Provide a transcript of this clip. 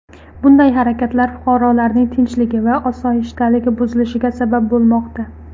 Bunday harakatlar fuqarolarning tinchligi va osoyishtaligi buzilishiga sabab bo‘lmoqda.